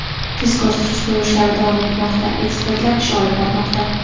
Tezkor-surishtiruv ishlari davom etmoqda, ekspertlar ish olib bormoqda.